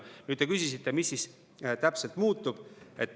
Nüüd, te küsisite, mis siis täpselt muutub.